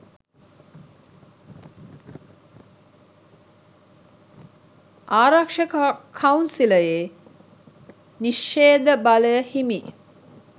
ආරක්ෂක කවුන්සිලයේ නිශ්ෂේධ බලය හිමි